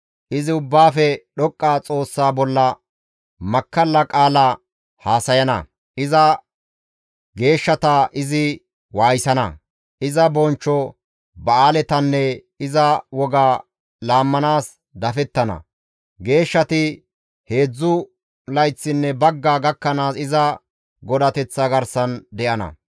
Izi Ubbaafe Dhoqqa Xoossaa bolla makkalla qaala haasayana; iza geeshshata izi waayisana; iza bonchcho ba7aaletanne iza woga laammanaas izi dafettana; geeshshati heedzdzu layththinne bagga gakkanaas iza godateththa garsan de7ana.